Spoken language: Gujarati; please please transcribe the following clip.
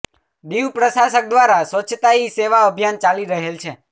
દીવ પ્રશાસક દ્વારા સ્વચ્છતા હી સેવા અભિયાન ચાલી રહેલ છે